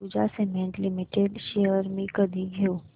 Ambuja cement limited shares मी कधी घेऊ